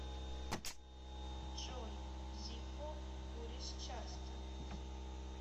джой зиппо куришь часто